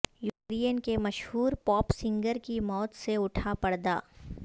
Ukraine کے مشہور pop singer کی موت سے اٹھا پردہ